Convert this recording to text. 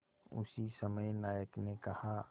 उसी समय नायक ने कहा